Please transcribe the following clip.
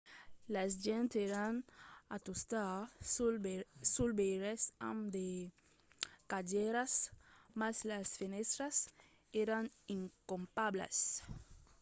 las gents èran a tustar suls veires amb de cadièras mas las fenèstras èran incopablas